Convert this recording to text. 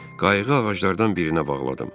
Qayığı ağaclardan birinə bağladım.